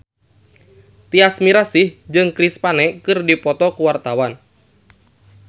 Tyas Mirasih jeung Chris Pane keur dipoto ku wartawan